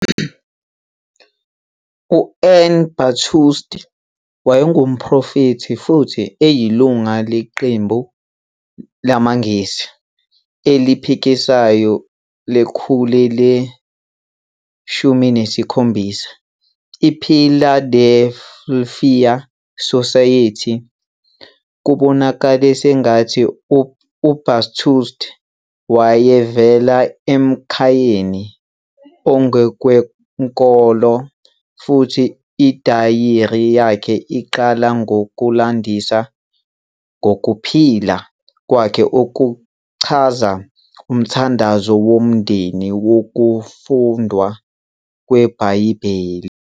U-Ann Bathurst wayengumprofethi futhi eyilungu leqembu lamaNgisi eliphikisayo lekhulu le-17, iPhiladelfiya Society. Kubonakala sengathi uBathurst wayevela emkhayeni ongokwenkolo, futhi idayari yakhe iqala ngokulandisa ngokuphila kwakhe okuchaza umthandazo womndeni nokufundwa kweBhayibheli.